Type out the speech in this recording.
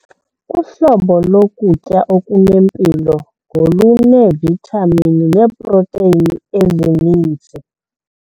Uhlobo lokutya okunempilo ngoluneevithamini neeprotheyini ezininzi.